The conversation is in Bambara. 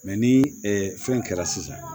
Mɛ ni fɛn kɛra sisan